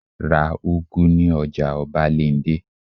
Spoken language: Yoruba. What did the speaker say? Ra úgú ní ọjà ọbándẹ́!